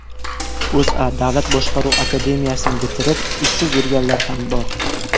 O‘zA: Davlat boshqaruv akademiyasini bitirib, ishsiz yurganlar ham bor.